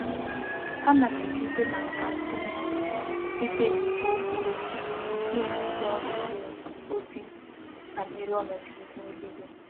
Ana m esite na nka ndi m nwere site n'igwe okwu redio na-enye ndi órú ubi ozi banyere onodu ihu eluigwe.